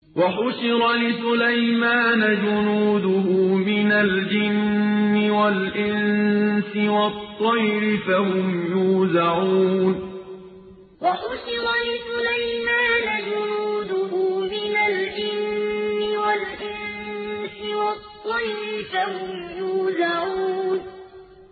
وَحُشِرَ لِسُلَيْمَانَ جُنُودُهُ مِنَ الْجِنِّ وَالْإِنسِ وَالطَّيْرِ فَهُمْ يُوزَعُونَ وَحُشِرَ لِسُلَيْمَانَ جُنُودُهُ مِنَ الْجِنِّ وَالْإِنسِ وَالطَّيْرِ فَهُمْ يُوزَعُونَ